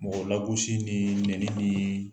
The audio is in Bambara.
Mɔgɔ lagosi nii nɛni nii